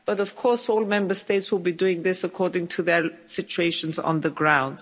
But of course all Member States will be doing this according to their own situation on the ground.